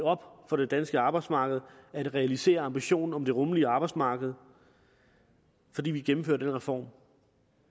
for det danske arbejdsmarked at realisere ambitionen om det rummelige arbejdsmarked fordi vi gennemfører denne reform